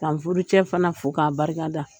Ka n furucɛ fana fo , ka barika da.